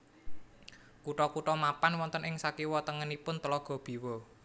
Kutha kutha mapan wonten ing sakiwa tengenipun Tlaga Biwa